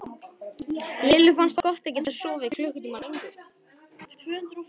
Lillu fannst gott að geta sofið klukkutíma lengur.